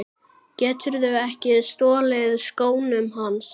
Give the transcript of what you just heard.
Geturðu ekki stolið skónum hans